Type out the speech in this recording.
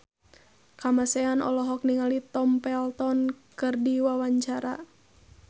Kamasean olohok ningali Tom Felton keur diwawancara